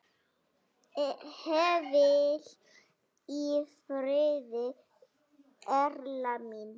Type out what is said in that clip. Hvíl í friði Erla mín.